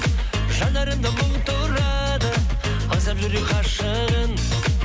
жанарымда мұң тұрады аңсап жүрек ғашығын